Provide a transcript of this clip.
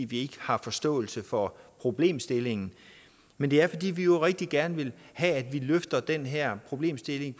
vi ikke har forståelse for problemstillingen men det er fordi vi jo rigtig gerne vil have at vi løfter den her problemstilling